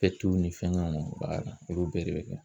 ni fɛngɛw b'a la olu bɛɛ de bɛ kɛ.